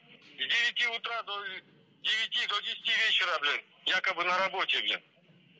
с девяти утра до девяти до десяти вечера блин якобы на работе